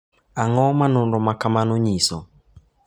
Ang’o ma nonro ma kamano nyiso?